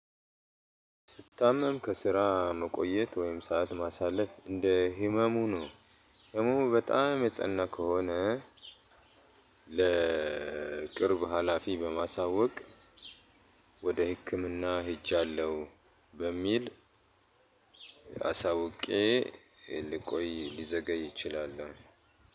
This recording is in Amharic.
ስታመም ከስራ መቆየት ወይም ሰዓት ማሳለፍ እንደህመሙ ነው። ህመሙ በጣም የጸና ከሆነ። ለቅርብ ሀላፊ በማሳወቅ ወደ ህክምና ሄጃለሁ። በሚል አሳውቄ ልቆይ ሊዘገይ እችላለሁ።